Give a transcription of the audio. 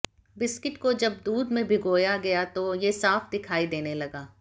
biscuit को जब दूध में भिगोया गया तो ये साफ दिखाई देने लगा